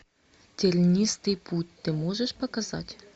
тернистый путь ты можешь показать